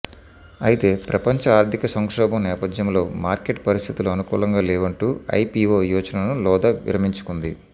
అయితే ప్రపంచ ఆర్థిక సంక్షేభం నేపథ్యంలో మార్కెట్ పరిస్థితులు అనుకూలంగాలేవంటూ ఐపిఒ యోచనను లోధా విరమించుకుంది